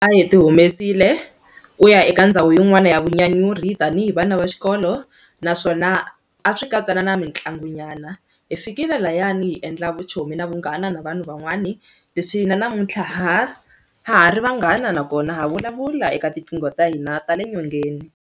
A hi ti humesile ku ya eka ndhawu yin'wana ya vunyanyuri tanihi vana va xikolo naswona a swi katsa na na mitlangu nyana hi fikile lahayani hi endla vuchomi na vunghana na vanhu van'wani leswi hina namuntlha ha ha ri vanghana nakona ha vulavula eka tinqingho ta hina ta le nyongeni.